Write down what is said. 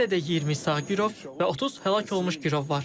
Hələ də 20 sağ girov və 30 həlak olmuş girov var.